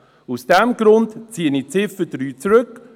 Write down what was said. Aus diesem Grund ziehe ich die Ziffer 3 zurück.